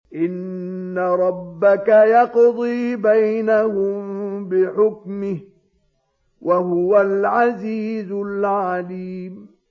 إِنَّ رَبَّكَ يَقْضِي بَيْنَهُم بِحُكْمِهِ ۚ وَهُوَ الْعَزِيزُ الْعَلِيمُ